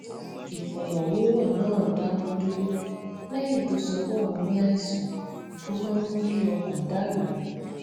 ìfòròwérò náà dáwó dúró léyìn tó sọ pé òun ní àìsàn tó máa ń mú kí ọkàn dà rú